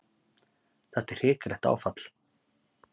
Þetta er hrikalegt áfall.